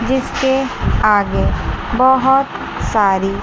जिसके आगे बहुत सारी--